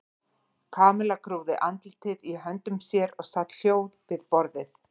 Kamilla grúfði andlitið í höndum sér og sat hljóð við borðið.